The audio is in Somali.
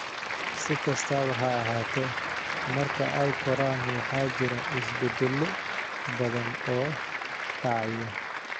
Si kastaba ha ahaatee, marka ay koraan waxaa jira isbeddello badan oo dhacaya.